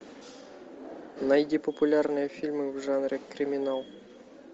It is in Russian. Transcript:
найди популярные фильмы в жанре криминал